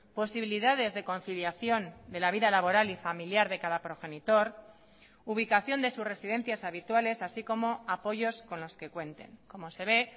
posibilidades de conciliación de la vida laboral y familiar de cada progenitor ubicación de sus residencias habituales así como apoyos con los que cuenten como se ve